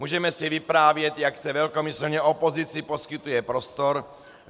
Můžeme si vyprávět, jak se velkomyslně opozici poskytuje prostor.